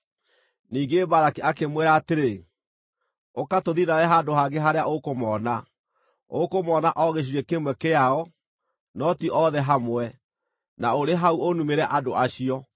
Ningĩ Balaki akĩmwĩra atĩrĩ, “Ũka tũthiĩ nawe handũ hangĩ harĩa ũkũmoona; ũkũmoona o gĩcunjĩ kĩmwe kĩao, no ti othe hamwe. Na ũrĩ hau ũnumĩre andũ acio.”